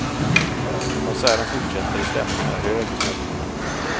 Konserten fortsätter och stämningen är hög, meddelar han.